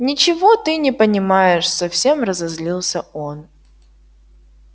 ничего ты не понимаешь совсем разозлился он